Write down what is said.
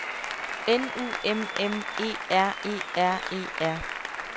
N U M M E R E R E R